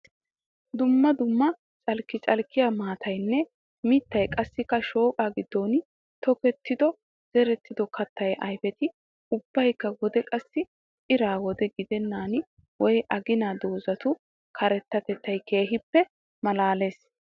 Duumma dumma calkki calkka maataynne mittat qassikka shooqaa goyiidi tokkidonne zerido katta ayfetti ubbakka wode qassi ira wode gidennan wayi agana doozzatu karettattettay keehiippe malaalees.